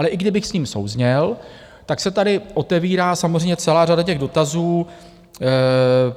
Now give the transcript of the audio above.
Ale i kdybych s ním souzněl, tak se tady otevírá samozřejmě celá řada těch dotazů.